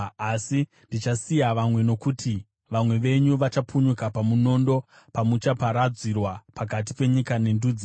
“ ‘Asi ndichasiya vamwe, nokuti vamwe venyu vachapunyuka pamunondo pamuchaparadzirwa pakati penyika nendudzi.